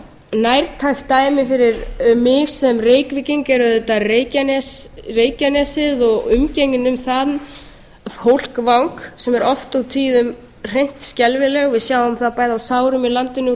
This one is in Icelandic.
nærtækt dæmi fyrir mig sem reykvíking er auðvitað reykjanesið og umgengnin um þann fólkvang sem er oft á tíðum hreint skelfilegur við sjáum það bæði á sárum í landinu